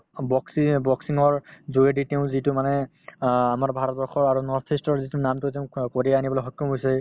boxing য়ে boxing ৰ যোগেদি তেওঁ যিটো মানে অ আমাৰ ভাৰতবৰ্ষৰ আৰু north-east ৰ যিটো নামটো তেওঁ ক কঢ়িয়াই আনিবলৈ সক্ষম হৈছে